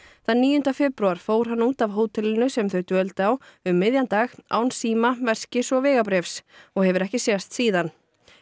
þann níunda febrúar fór hann út af hótelinu sem þau dvöldu á um miðjan dag án síma veskis og vegabréfs og hefur ekki sést síðan